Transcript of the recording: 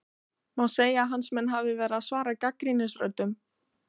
Má segja að hans menn hafi verið að svara gagnrýnisröddum?